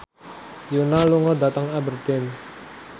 Yoona lunga dhateng Aberdeen